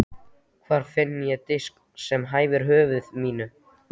Hvar finn ég disk sem hæfir höfði mínu?